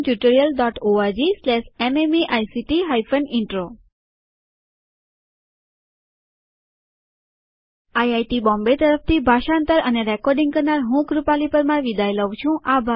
spoken tutorialorgnmeict intro IIT Bombay તરફથી ભાષાંતર અને રેકોર્ડીંગ કરનાર હું કૃપાલી પરમાર વિદાય લઉં છું